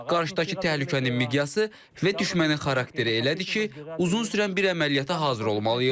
Qarşıdakı təhlükənin miqyası və düşmənin xarakteri elədir ki, uzun sürən bir əməliyyata hazır olmalıyıq.